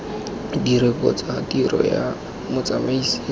direkoto tsa tiro ya motsamaisi